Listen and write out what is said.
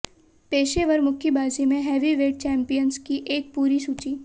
पेशेवर मुक्केबाजी में हेवीवेट चैंपियंस की एक पूरी सूची